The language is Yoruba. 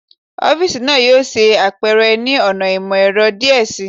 Ọfiisi naa yoo ṣe apẹrẹ ni ọna imọ-ẹrọ diẹ sii